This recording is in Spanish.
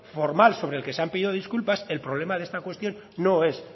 formal sobre el que se han pedido disculpas el problema de esta cuestión no es